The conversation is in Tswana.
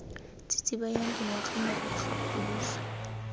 tsitsibanyang dingwaga morago ga phuduso